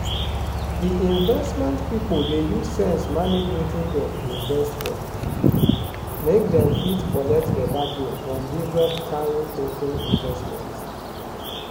di investment pipo dey use sense manage wetin dem invest for make dem fit collect better gain from different kain token investment.